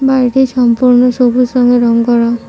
বাড়িটি সম্পূর্ণ সবুজ রঙে রং করা।